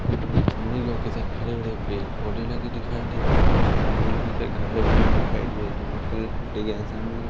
साथ हरे भरे पेड़ पौधे लगे दिखाई दे सामने कई सा घर बने दिखाई दे रहा जो व्हाइट कलर सामने जो--